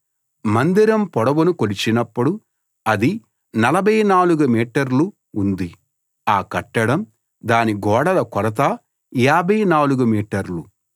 మందిరం పొడవును కొలిచినప్పుడు అది 44 మీటర్లు ఉంది ఆ కట్టడం దాని గోడల కొలత 54 మీటర్లు